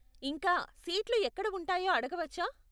ఇంకా, సీట్లు ఎక్కడ ఉంటాయో అడగవచ్చా?